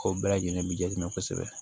Kow bɛɛ lajɛlen bi ja ɲɛ kosɛbɛ